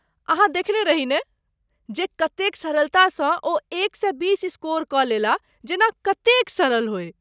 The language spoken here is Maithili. अहाँ देेखने रही नहि, जे कतेक सरलतासँ ओ एक सए बीस स्कोर कऽ लेलाह, जेना कतेक सरल होय।